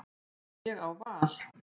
Ég á val.